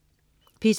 P2: